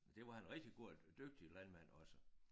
Det var han rigtig god og dygtig landmand også